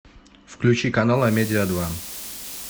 включи канал амедиа два